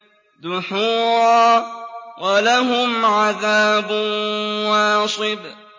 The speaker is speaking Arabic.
دُحُورًا ۖ وَلَهُمْ عَذَابٌ وَاصِبٌ